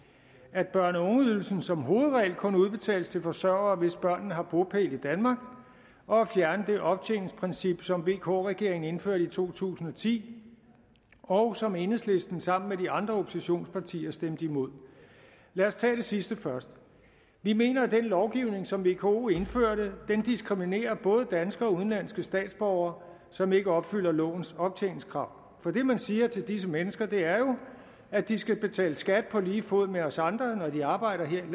at børne og ungeydelsen som hovedregel kun udbetales til forsørgere hvis børnene har bopæl i danmark og at fjerne det optjeningsprincip som vk regeringen indførte i to tusind og ti og som enhedslisten sammen med de andre oppositionspartier stemte imod lad os tage det sidste først vi mener at den lovgivning som vko indførte diskriminerer både danske og udenlandske statsborgere som ikke opfylder lovens optjeningskrav for det man siger til disse mennesker er jo at de skal betale skat på lige fod med os andre når de arbejder her